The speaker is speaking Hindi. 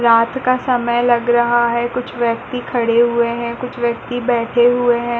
रात का समय लग रहा है कुछ व्यक्ति खड़े हुए हैं कुछ व्यक्ति बैठे हुए हैं।